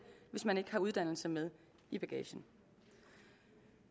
hvis man ikke har uddannelse med i bagagen